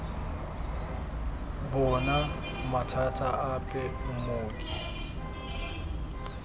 bo na mathata ape mmoki